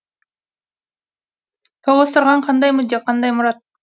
тоғыстырған қандай мүдде қай мұрат